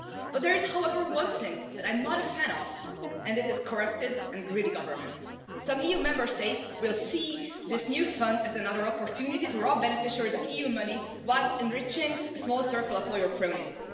There is, however, one thing that I am not a fan of and that is corrupted and greedy governments. Some EU Member States will see this new fund as another opportunity to rob beneficiaries of EU money while enriching a small circle of loyal cronies.